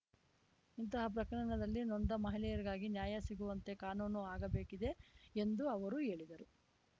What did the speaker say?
ಇಂತಹ ಪ್ರಕರಣಗಳಲ್ಲಿ ನೊಂದ ಮಹಿಳೆಯರಿಗಾಗಿ ನ್ಯಾಯ ಸಿಗುವಂತೆ ಕಾನೂನು ಆಗಬೇಕಿದೆ ಎಂದು ಅವರು ಹೇಳಿದರು